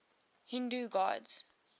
hindu gods